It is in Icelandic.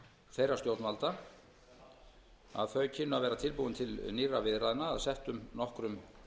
þeirra stjórnvalda að þau kynnu að vera tilbúin til nýrra viðræðna að settum nokkrum